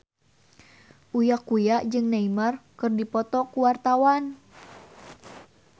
Uya Kuya jeung Neymar keur dipoto ku wartawan